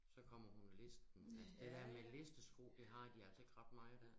Så kommer hun listende altså det dér med listesko det har de altså ikke ret meget her